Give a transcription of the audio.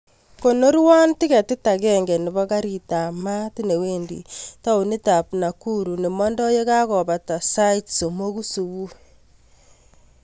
Konorwon tiketit agenge nebo garit ab maat newendi taunit ab nakuru nemondo yekakobata sait somok subui